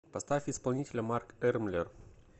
поставь исполнителя марк эрмлер